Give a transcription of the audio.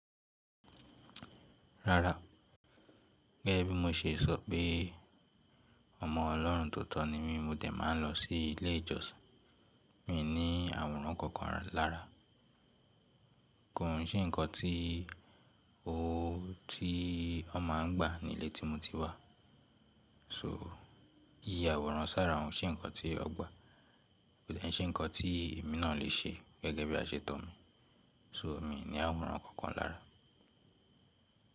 Rárá, gẹ́gẹ́ bí mo ṣe sọ pé ọmọ Ọlọ́run tó tọ́ ni mí, mo dẹ̀ máa ń lọ sí ilé ìjọsìn. Mi ní àwòrán kankan lára. Kò n ṣe ǹkan tí ó, tí wọ́n má a ń gbà nílé tí mo ti wà. So iyà àwòrán sára òun ṣe ǹkan tí ó gbà, kò dà ní ṣe ǹkan tí èmi náà lè ṣe gẹ́gẹ́ bí àṣetọ̀ mi. So mí ní àwòrán kankan lára.